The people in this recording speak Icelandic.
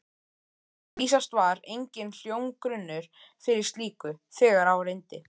Vísast var enginn hljómgrunnur fyrir slíku, þegar á reyndi.